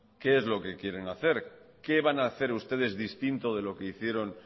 qué es lo que quieren hacer qué van a hacer ustedes distinto de lo que hicieron